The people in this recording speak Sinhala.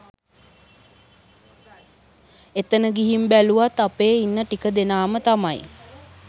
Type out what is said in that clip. එතන ගිහින් බැලුවත් අපේ ඉන්න ටික දෙනාම තමයි